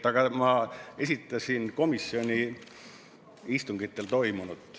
Aga ma esitasin komisjoni istungitel toimunut.